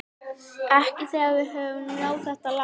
Ekki þegar við höfum náð þetta langt